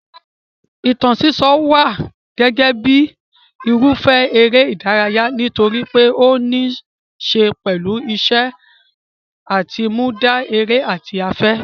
Ìtàn sísọ wà gẹ́gẹ́ bíi irúfẹ́ eré ìdárayá nítorí pé ó níí ṣe pẹ̀lú ìṣe àtinúdá, èrò àti afẹ́.